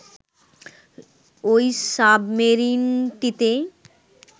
ওই সাবমেরিনটিতে